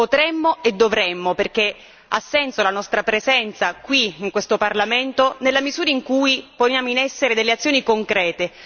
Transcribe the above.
Potremmo e dovremmo, perché ha senso la nostra presenza qui, in questo Parlamento, nella misura in cui poniamo in essere delle azioni concrete.